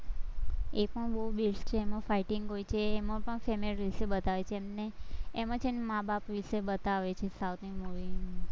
એકમાં બોવ best છે એમાં fighting હોય છે, એમા પણ family વિશે બતાવે છે, એમને એમાં છે ને માં-બાપ વિશે બતાવે છે, south ની movie માં